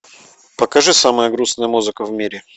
покажи самая грустная музыка в мире